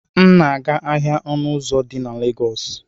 M na-aga ahịa ọnụ ụzọ di na Legọọsụ.